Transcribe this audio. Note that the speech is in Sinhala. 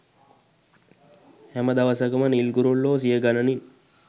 හැම දවසකම නිල් කුරුල්ලෝ සියගණනින්